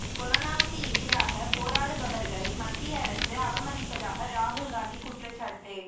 கொரோனாவுக்கு எதிராக போராடுபவர்களை மத்திய அரசு அவமதிப்பதாக ராகுல் காந்தி குற்றச்சாட்டு